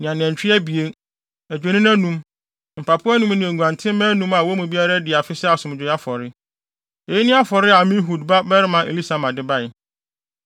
ne anantwi abien, adwennini anum, mpapo anum ne nguantenmma anum a wɔn mu biara adi afe sɛ asomdwoe afɔre. Eyi ne afɔre a Amihud babarima Elisama de bae.